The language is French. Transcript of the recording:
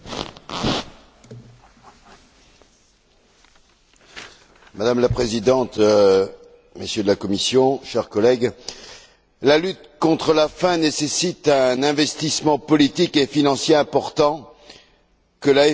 Madame la Présidente, Messieurs de la Commission, chers collègues, la lutte contre la faim nécessite un investissement politique et financier important, que la FAO n'a pas été en mesure de générer à Rome, la semaine dernière, et je le déplore.